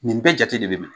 Nin bɛɛ jate de bɛ minɛ